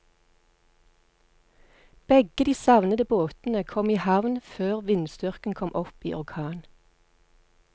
Begge de savnede båtene kom i havn før vindstyrken kom opp i orkan.